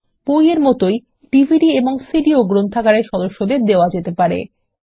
বই এর মতই ডিভিডি এবং সিডি ও গ্রন্থাগারের সদস্যদের দেওয়া যেতে পারে